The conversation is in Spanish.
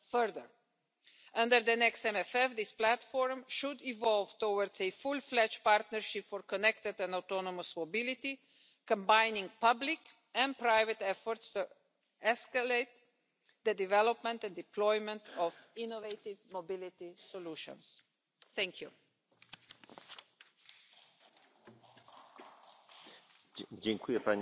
Estas son las dos claves en las que debemos basar el futuro de la movilidad europea, porque me parece que es el campo de la equidad, de la justicia en el caso concreto. Debemos tratar de que la economía colaborativa no sea un rótulo más, señora comisaria. Las decisiones políticas no se están tomando, las regulaciones no son previas, las empresas nuevas se ven sometidas a sentencias sucesivas en los distintos Estados miembros de forma incoherente.